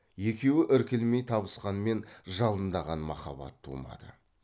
екеуі іркілмей табысқанмен жалындаған махаббат тумады